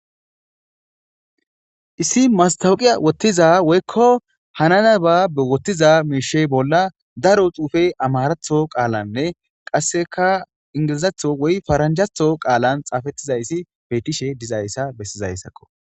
issi mastawuqiya wottiza woykko hanana ba be wottiza meishe bolla daro xuufe amaaratho qaalanne qasseka ingilizatho woy faranjatho qaalan xaafettizayssi beetishe dizayssa bessizayssakko